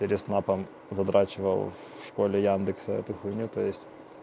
переснапом задрачивал в школе яндексом эту хуйню то есть